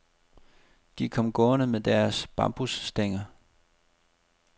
De kom gående med deres bambusstænger.